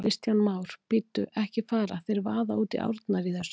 Kristján Már: Bíddu, ekki fara þeir að vaða út í árnar í þessu?